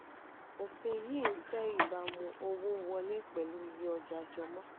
ofin yìí ń fẹ́ ibaamu owó wọlé pẹ̀lú iye ọja jọmọ.